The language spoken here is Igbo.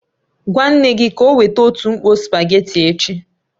Gwa nne gị ka o weta otu mkpò spugeetí echi